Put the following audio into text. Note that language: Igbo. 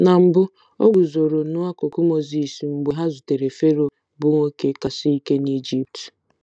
Na mbụ, o guzoro n'akụkụ Mozis mgbe ha zutere Fero, bụ́ nwoke kasị ike n'Ijipt.